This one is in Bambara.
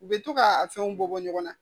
U bɛ to k'a fɛnw bɔ ɲɔgɔn na